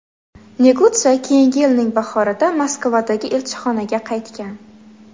Negutsa keyingi yilning bahorida Moskvadagi elchixonaga qaytgan.